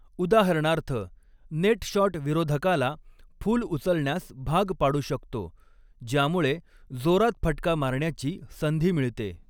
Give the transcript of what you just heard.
उदाहरणार्थ, net shot विरोधकाला फूल उचलण्यास भाग पाडू शकतो, ज्यामुळे जोरात फटका मारण्याची संधी मिळते.